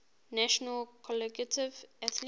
national collegiate athletic